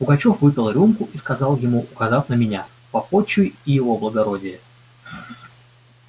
пугачёв выпил рюмку и сказал ему указав на меня попотчуй и его благородие